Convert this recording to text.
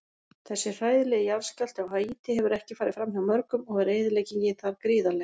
Þessi hræðilegi jarðskjálfti á Haítí hefur ekki farið framhjá mörgum og er eyðileggingin þar gríðarleg.